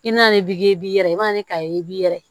I mana ne dege i b'i yɛrɛ i bɛna ne ka e b'i yɛrɛ ye